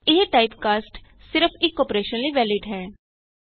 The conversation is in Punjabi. ਇਹ ਟਾਈਪਕਾਸਟ ਸਿਰਫ ਇਕ ਅੋਪਰੇਸ਼ਨ ਲਈ ਵੈਲਿਡ ਹੈ